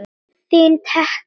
Þín Tekla.